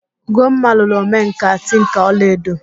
Ugomma lụrụ omenkà tinka ọla edo